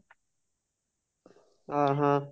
ଓଃ ହୋ